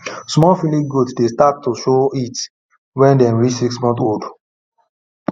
small female goat dey start to show heat when dem reach six months old